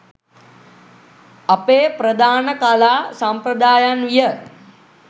අපේ ප්‍රධාන කලා සම්ප්‍රදායන් විය.